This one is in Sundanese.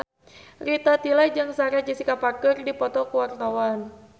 Rita Tila jeung Sarah Jessica Parker keur dipoto ku wartawan